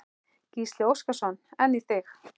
Gísli Óskarsson: En í þig?